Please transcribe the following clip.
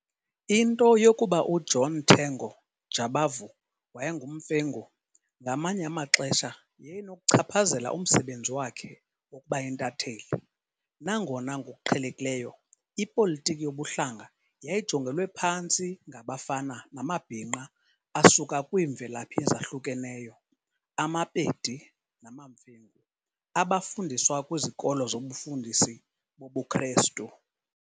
Into yokuba uJohn Tengo Jabavu wayenguMfengu ngamanye amaxesha yayinokuchaphazela umsebenzi wakhe wokuba yintatheli, nangona ngokuqhelekileyo, ipolitiki yobuhlanga yayijongelwe phantsi ngabafana namabhinqa asuka kwiimvelaphi ezahlukeneyo amaPedi namaMfengu abafundiswa kwizikolo zobufundisi bobuKrestu.